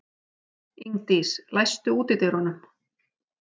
Ingdís, læstu útidyrunum.